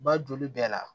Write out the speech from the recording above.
Ba joli bɛɛ la